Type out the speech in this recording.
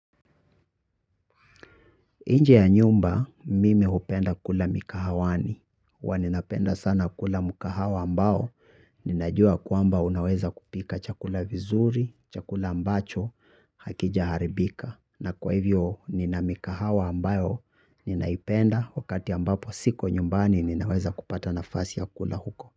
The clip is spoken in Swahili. Inje ya nyumba mimi hupenda kula mikahawani ua ninapenda sana kula mukahawa ambao ninajua kwamba unaweza kupika chakula vizuri, chakula ambacho hakijaharibika na kwa hivyo ninamikahawa ambayo ninaipenda wakati ambapo siko nyumbani ninaweza kupata nafasi ya kula huko.